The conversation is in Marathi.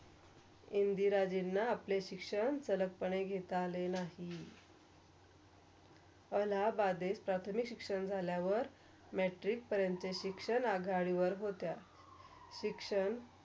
इंदिराजिंण आपले शिक्षण सरल पणे घेता आले नाही . अलाहाबाद इते प्राथमिक शिक्षण झाल्यावर Matric परंत शिक्षण आघाडीवर होत्या. शिक्षण